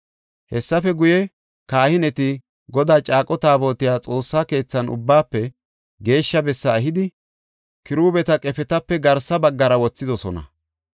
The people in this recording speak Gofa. Hessafe guye, kahineti Godaa caaqo taabotiya Xoossa keethan Ubbaafe Geeshsha bessa ehidi, kiruubeta qefetape garsa baggara wothidosona.